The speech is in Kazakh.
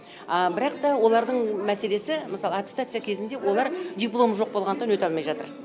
а бірақ та олардың мәселесі мысалы аттестация кезінде олар дипломы жоқ болғандықтан өте алмай жатыр